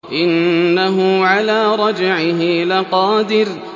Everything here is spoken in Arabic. إِنَّهُ عَلَىٰ رَجْعِهِ لَقَادِرٌ